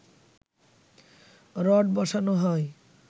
rod বসানো হয়